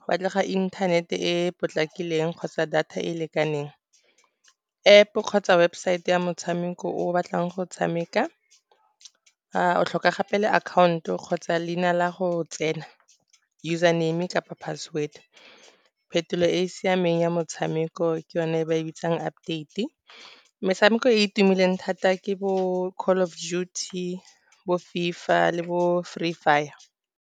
go batlega internet-e e e potlakileng kgotsa data e e lekaneng. App-o kgotsa webosaete ya motshameko o o batlang go tshameka, o tlhoka gape le account-o, kgotsa leina la go tsena username kapa password. Phetolo e e siameng ya motshameko ke yone e ba e bitsang update-e, metshameko e e tumileng thata ke bo Call of Duty, bo FIFA le bo Free Fire.